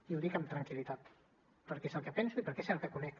i ho dic amb tranquil·litat perquè és el que penso i perquè és el que conec